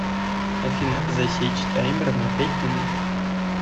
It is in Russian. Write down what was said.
афина засечь таймер на пять минут